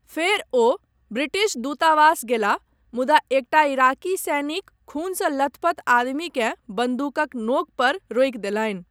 फ़ेर ओ ब्रिटिश दुतावास गेलाह, मुदा एकटा इराक़ी सैनिक खूनसँ लथपथ आदमीकेँ बंदूकक नोंक पर रोकि देलनि।